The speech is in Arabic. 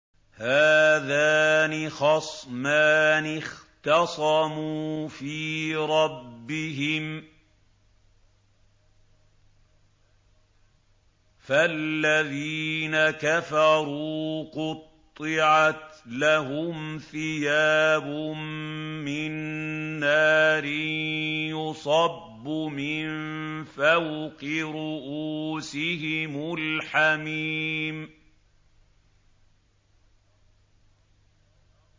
۞ هَٰذَانِ خَصْمَانِ اخْتَصَمُوا فِي رَبِّهِمْ ۖ فَالَّذِينَ كَفَرُوا قُطِّعَتْ لَهُمْ ثِيَابٌ مِّن نَّارٍ يُصَبُّ مِن فَوْقِ رُءُوسِهِمُ الْحَمِيمُ